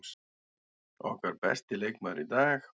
Okkar besti leikmaður í dag.